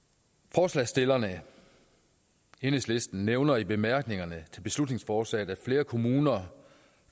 forslagsstillerne enhedslisten nævner i bemærkningerne til beslutningsforslaget at flere kommuner